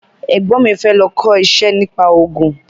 Ẹ̀gbọ́n mi fẹ́ lọ kọ́ iṣẹ́ nípa ògùn